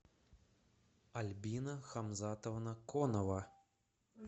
альбина хамзатовна конова